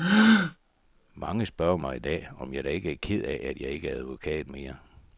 Mange spørger mig i dag, om jeg da ikke er ked af, at jeg ikke er advokat mere.